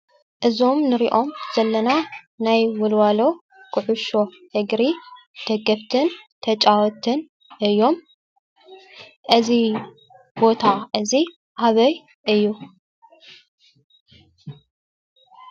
እዞም ንሪኦም ዘለና ናይ ወልዋሎ ኩዕሾ እግሪ ደገፍትን ተጫወትን እዮም፡፡ እዚ ቦታ እዚ ኣበይ እዩ?